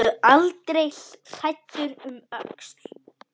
Horfðu aldrei hræddur um öxl!